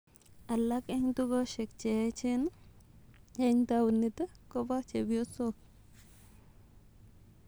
Alak en tugoshek cheyecheen en tawuniit kopo chepyosok